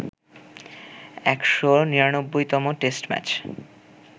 ১৯৯তম test match